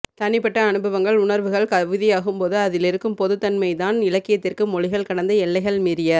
தனிப்பட்ட அனுபவங்கள் உணர்வுகள் கவிதையாகும்போது அதிலிருக்கும் பொதுமைத்தன்மைதான் இலக்கியத்திற்கு மொழிகள் கடந்த எல்லைகள் மீறிய